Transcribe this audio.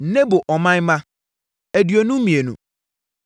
Nebo man mma tcr2 52 tc1